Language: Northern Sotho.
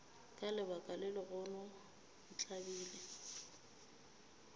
ka lebaka la gago ntlabile